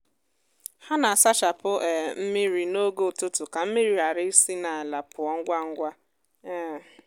ha na-asachapụ um mmiri n’oge ụtụtụ ka mmiri ghara isi n’ala pụọ ngwa ngwa. um